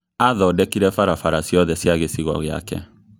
Athondekire barabara ciothe cia gĩcigo giake